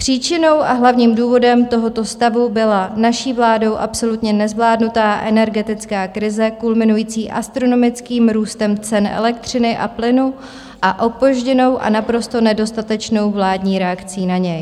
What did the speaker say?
Příčinou a hlavním důvodem tohoto stavu byla naší vládou absolutně nezvládnutá energetická krize kulminující astronomickým růstem cen elektřiny a plynu a opožděnou a naprosto nedostatečnou vládní reakcí na něj.